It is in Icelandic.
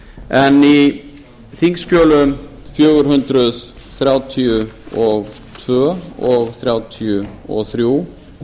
en í þingskjölum fjögur hundruð þrjátíu og tvö og fjögur hundruð þrjátíu og þrjú